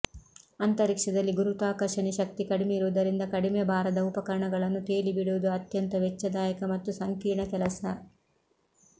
ಅಂತರಿಕ್ಷದಲ್ಲಿ ಗುರುತ್ವಾಕರ್ಷಣೆ ಶಕ್ತಿ ಕಡಿಮೆ ಇರುವುದರಿಂದ ಕಡಿಮೆ ಭಾರದ ಉಪಕರಣಗಳನ್ನು ತೇಲಿಬಿಡುವುದು ಅತ್ಯಂತ ವೆಚ್ಚದಾಯಕ ಮತ್ತು ಸಂಕೀರ್ಣ ಕೆಲಸ